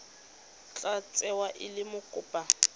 tla tsewa e le mokopa